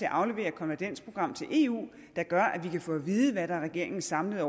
at aflevere konvergensprogrammet til eu der gør at vi kan få at vide hvad der er regeringens samlede